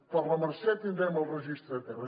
per a la mercè tindrem el registre de terres